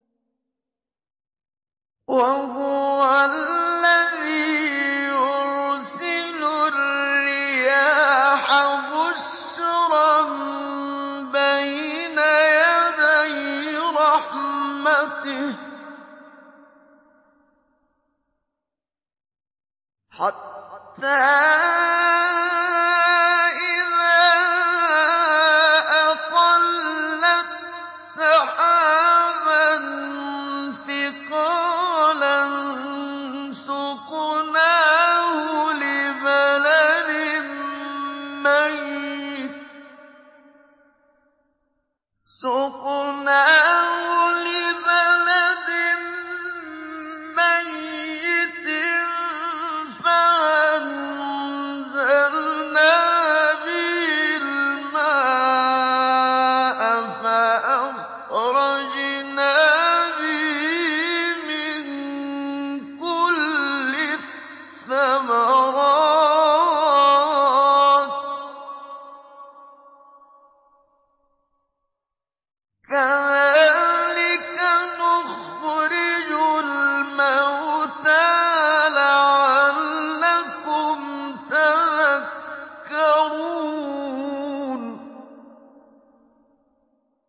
وَهُوَ الَّذِي يُرْسِلُ الرِّيَاحَ بُشْرًا بَيْنَ يَدَيْ رَحْمَتِهِ ۖ حَتَّىٰ إِذَا أَقَلَّتْ سَحَابًا ثِقَالًا سُقْنَاهُ لِبَلَدٍ مَّيِّتٍ فَأَنزَلْنَا بِهِ الْمَاءَ فَأَخْرَجْنَا بِهِ مِن كُلِّ الثَّمَرَاتِ ۚ كَذَٰلِكَ نُخْرِجُ الْمَوْتَىٰ لَعَلَّكُمْ تَذَكَّرُونَ